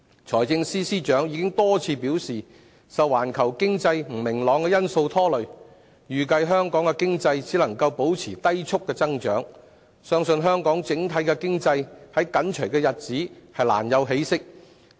財政司司長已多次表示，受環球經濟不明朗的因素拖累，預計香港經濟只能保持低速增長，相信香港整體經濟在短期內難有起色。